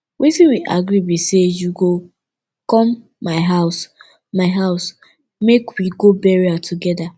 wetin we agree be say you go come my house my house make we go burial together